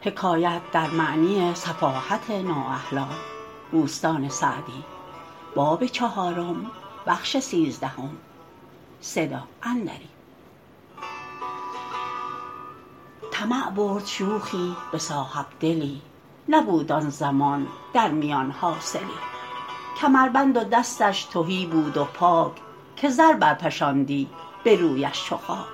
طمع برد شوخی به صاحبدلی نبود آن زمان در میان حاصلی کمربند و دستش تهی بود و پاک که زر برفشاندی به رویش چو خاک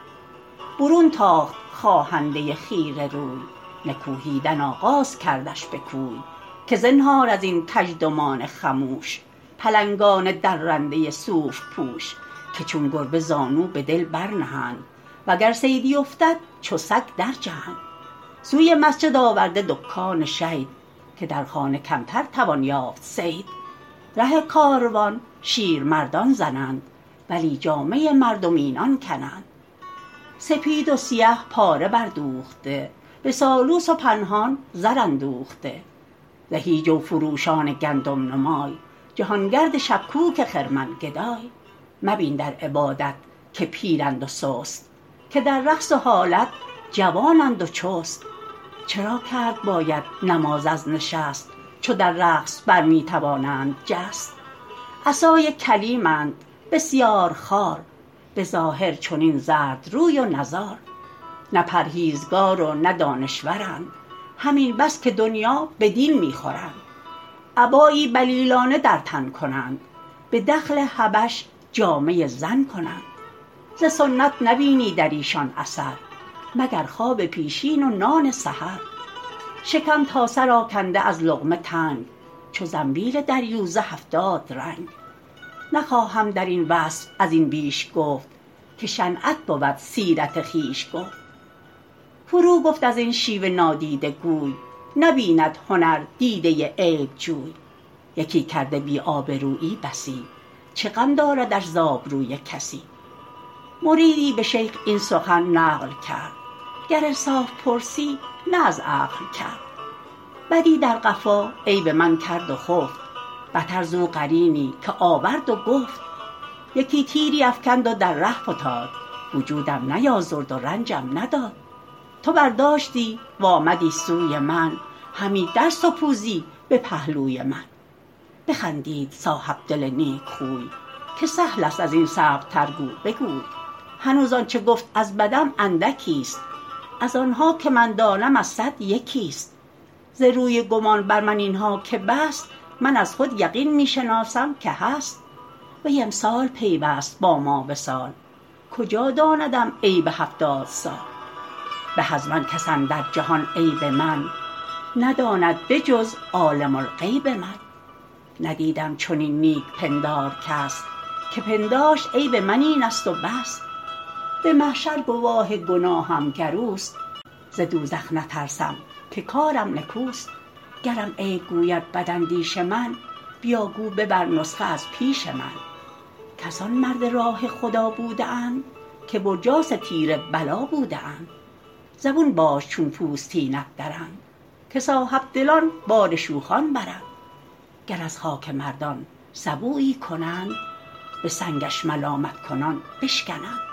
برون تاخت خواهنده خیره روی نکوهیدن آغاز کردش به کوی که زنهار از این کژدمان خموش پلنگان درنده صوف پوش که چون گربه زانو به دل برنهند و گر صیدی افتد چو سگ در جهند سوی مسجد آورده دکان شید که در خانه کمتر توان یافت صید ره کاروان شیرمردان زنند ولی جامه مردم اینان کنند سپید و سیه پاره بر دوخته به سالوس و پنهان زر اندوخته زهی جو فروشان گندم نمای جهانگرد شبکوک خرمن گدای مبین در عبادت که پیرند و سست که در رقص و حالت جوانند و چست چرا کرد باید نماز از نشست چو در رقص بر می توانند جست عصای کلیمند بسیار خوار به ظاهر چنین زرد روی و نزار نه پرهیزگار و نه دانشورند همین بس که دنیا به دین می خورند عبایی بلیلانه در تن کنند به دخل حبش جامه زن کنند ز سنت نبینی در ایشان اثر مگر خواب پیشین و نان سحر شکم تا سر آکنده از لقمه تنگ چو زنبیل دریوزه هفتاد رنگ نخواهم در این وصف از این بیش گفت که شنعت بود سیرت خویش گفت فرو گفت از این شیوه نادیده گوی نبیند هنر دیده عیبجوی یکی کرده بی آبرویی بسی چه غم داردش ز آبروی کسی مریدی به شیخ این سخن نقل کرد گر انصاف پرسی نه از عقل کرد بدی در قفا عیب من کرد و خفت بتر زو قرینی که آورد و گفت یکی تیری افکند و در ره فتاد وجودم نیازرد و رنجم نداد تو برداشتی و آمدی سوی من همی در سپوزی به پهلوی من بخندید صاحبدل نیکخوی که سهل است از این صعب تر گو بگوی هنوز آنچه گفت از بدم اندکی است از آنها که من دانم از صد یکی است ز روی گمان بر من اینها که بست من از خود یقین می شناسم که هست وی امسال پیوست با ما وصال کجا داندم عیب هفتاد سال به از من کس اندر جهان عیب من نداند به جز عالم الغیب من ندیدم چنین نیک پندار کس که پنداشت عیب من این است و بس به محشر گواه گناهم گر اوست ز دوزخ نترسم که کارم نکوست گرم عیب گوید بد اندیش من بیا گو ببر نسخه از پیش من کسان مرد راه خدا بوده اند که برجاس تیر بلا بوده اند زبون باش چون پوستینت درند که صاحبدلان بار شوخان برند گر از خاک مردان سبویی کنند به سنگش ملامت کنان بشکنند